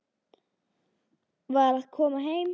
Var að koma heim.